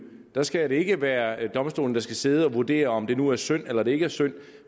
der skal det ikke være domstolen der skal sidde og vurdere om det nu er synd eller det ikke er synd